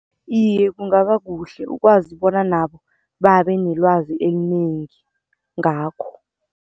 Iye, kungaba kuhle ukwazi bona nabo babe nelwazi elinengi ngakho.